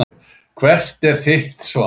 Hvert er þitt svar?